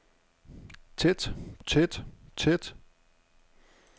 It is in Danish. tæt tæt tæt